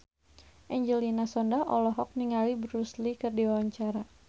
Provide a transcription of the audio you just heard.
Angelina Sondakh olohok ningali Bruce Lee keur diwawancara